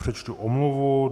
Přečtu omluvu.